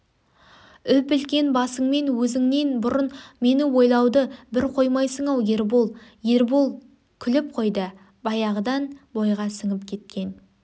үп-үлкен басыңмен өзіңнен бұрын мені ойлауды бір қоймайсың-ау ербол ербол күліп қойды баяғыдан бойға сіңіп кеткен